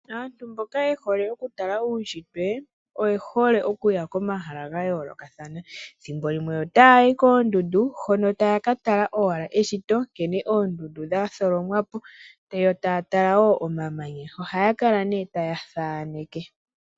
Aantu mboka yehole okutala uunshitwe oye hole okuya komahala ga yoolokathana ethimbo limwe ota ya yi koondundu hono taya ka tala owala eshito nkene oondundu dha tholomwapo yo taya tala wo omamanya oha ya kala ne taya thaaneke.